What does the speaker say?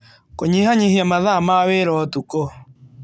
Kũnyihanyihia mathaa ma wĩra ũtukũ